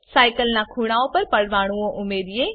cycle ના ખૂણાઓ પર પરમાણુઓ ઉમેરો